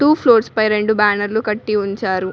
Floors పై రెండు బ్యానర్లు కట్టి ఉంచారు.